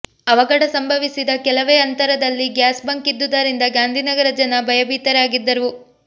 ಅವಘಡ ಸಂಭವಿಸಿದ ಕೆಲವೇ ಅಂತರದಲ್ಲಿ ಗ್ಯಾಸ್ ಬಂಕ್ ಇದ್ದುದರಿಂದ ಗಾಂಧಿನಗರ ಜನ ಭಯಭೀತರಾಗಿದ್ದರು